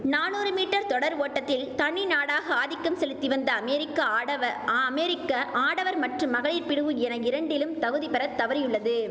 நானூறு மீட்டர் தொடர் ஓட்டத்தில் தனி நாடாக ஆதிக்கம் செலுத்தி வந்த அமெரிக்க ஆடவ அமெரிக்க ஆடவர் மற்றும் மகளிர் பிரிவு என இரண்டிலும் தகுதி பெற தவறியுள்ளது